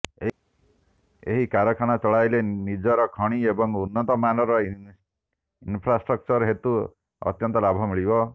ଏହି କାରଖାନା ଚଳାଇଲେ ନିଜର ଖଣି ଏବଂ ଉନ୍ନତ ମାନର ଇନ୍ଫ୍ରାଷ୍ଟକ୍ଚର ହେତୁ ଅତ୍ୟନ୍ତ ଲାଭ ମିଳିବ